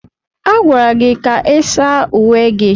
A gwara gị ka ị saa uwe gị!